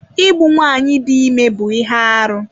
Igbu nwaanyị dị ime bụ ihe arụ.